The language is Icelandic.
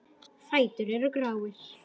Fætur eru gráir.